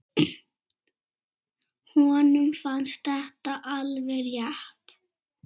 Honum fannst þetta alveg rétt.